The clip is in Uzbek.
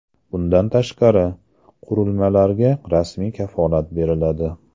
Bundan tashqari, qurilmalarga rasmiy kafolat beriladi.